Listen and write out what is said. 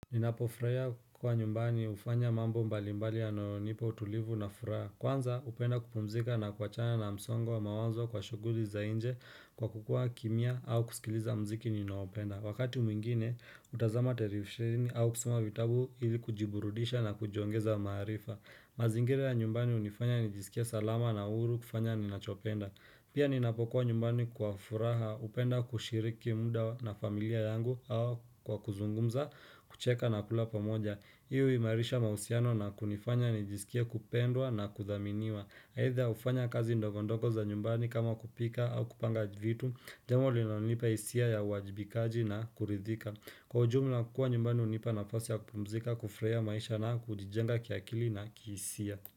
Ninapofurahia kwa nyumbani hufanya mambo mbalimbali yanayonipa utulivu na furaha Kwanza hupenda kupumzika na kuachana na msongo wa mawanzo kwa shughuli za nje kwa kukuwa kimya au kusikiliza mziki ninaopenda Wakati mwingine hutazama terifisheni au kusoma vitabu ili kujiburudisha na kujiongeza maarifa mazingira ya nyumbani hunifanya nijisikie salama na huru kufanya ninachopenda Pia ninapokuwa nyumbani kwa furaha, hupenda kushiriki muda na familia yangu au kwa kuzungumza, kucheka na kula pamoja. Hio huimarisha mahusiano na kunifanya nijisikie kupendwa na kuthaminiwa. Aidha hufanya kazi ndogondogo za nyumbani kama kupika au kupanga vitu, jambo linalonipa hisia ya uwajibikaji na kuridhika. Kwa ujumla kukuwa nyumbani hunipa nafasi ya kupumzika, kufurahia maisha na kujijenga kiakili na kihisia.